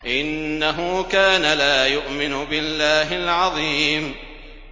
إِنَّهُ كَانَ لَا يُؤْمِنُ بِاللَّهِ الْعَظِيمِ